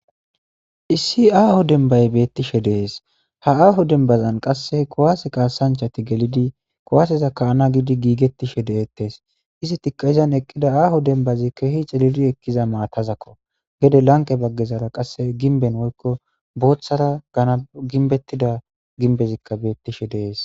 issi aaho dembay beettishe de7es ha aaho dembazan qasseh kowaase kaasanchati gelidi kowaaseza ka7ana gidi giigettishe de7ettes izi tikayizan eqqida aaho dembazi keehi celiri ekkiza maatazakko gede lanqe baggezara qasse ginben woykko booththara gana ginbettida ginbezikka beettishe de7es